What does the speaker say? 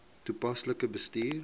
toepaslik bestuur